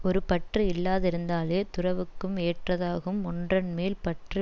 ஒரு பற்று இல்லாதிருத்தலே துறவுக்கும் ஏற்றதாகும் ஒன்றன் மேல் பற்று